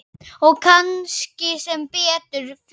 Og kannski sem betur fer.